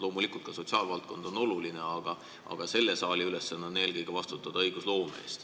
Loomulikult ka sotsiaalvaldkond on oluline, aga selle saali ülesanne on eelkõige vastutada õigusloome eest.